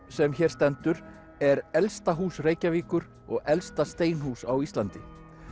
sem hér stendur er elsta hús Reykjavíkur og elsta steinhús á Íslandi